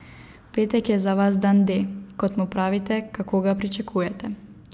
V petek je za vas dan D, kot mu pravite, kako ga pričakujete?